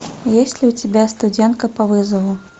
есть ли у тебя студентка по вызову